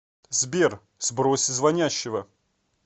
сбер сбрось звонящего